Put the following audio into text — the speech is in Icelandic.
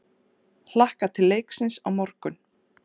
Hlakka til leiksins á morgun.